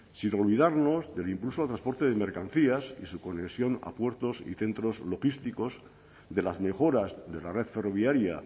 sin olvidarnos del impulso al transporte de mercancías y su conexión a puertos y centros logísticos de las mejoras de la red ferroviaria